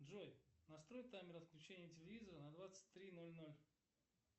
джой настрой таймер отключения телевизора на двадцать три ноль ноль